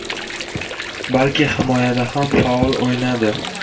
balki himoyada ham faol o‘ynadi.